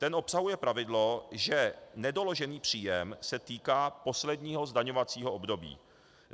Ten obsahuje pravidlo, že nedoložený příjem se týká posledního zdaňovacího období.